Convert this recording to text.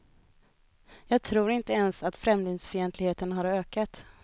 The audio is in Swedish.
Jag tror inte ens att främlingsfientligheten har ökat.